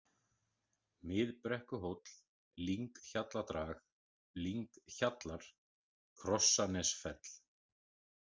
Miðbrekkuhóll, Lynghjalladrag, Lynghjallar, Krossanesfell